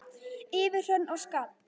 Yfir hrönn og skafl!